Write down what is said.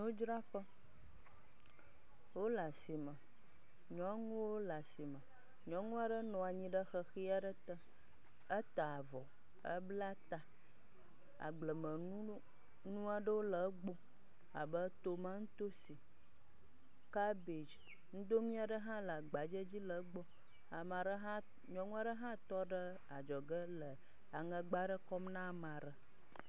Nudzraƒe. wole asime. Nyɔnuwo le asime. Nyɔnu aɖe nɔ anyi ɖe ʋeʋi aɖe te. Eta avɔ. Ebla ta. Agblemenu nu aɖewo le egbɔ abe: tomatosi, kabedzi, nudonui aɖe hã le agbadzɛ dzi le egbɔ. Ame aɖe hã nyɔnu aɖe hã tɔ ɖe adzɔge le aŋɛgba aɖe kɔm na ame aɖe.